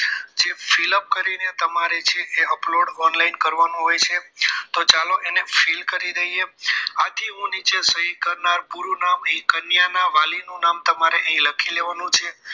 જે fill up કરીને તમારે તે છે એ તમારે upload online કરવાનું હોય છે તો ચાલો એને fill કરી લઈએ આથી હું નીચે સહી કરનાર પૂરું નામ અહીં કન્યાના વાલી નું નામ તમારે અહીં લખી લેવાનું છે